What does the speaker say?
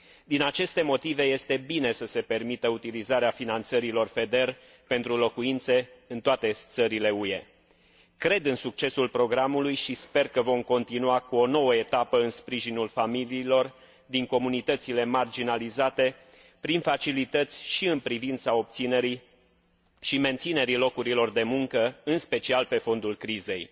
Din aceste motive este bine să se permită utilizarea finanțărilor FEDER pentru locuințe în toate țările UE. Cred în succesul programului și sper că vom continua cu o nouă etapă în sprijinul familiilor din comunitățile marginalizate prin facilități și în privința obținerii și menținerii locurilor de muncă, în special pe fondul crizei.